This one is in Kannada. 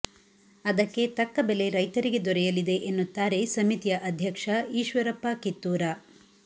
ಅದಕ್ಕೆ ತಕ್ಕ ಬೆಲೆ ರೈತರಿಗೆ ದೊರೆಯಲಿದೆ ಎನ್ನುತ್ತಾರೆ ಸಮಿತಿಯ ಅಧ್ಯಕ್ಷ ಈಶ್ವರಪ್ಪ ಕಿತ್ತೂರ